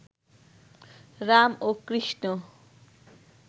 রাম ও কৃষ্ণ